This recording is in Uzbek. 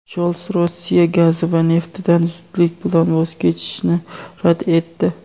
Shols Rossiya gazi va neftidan zudlik bilan voz kechishni rad etdi.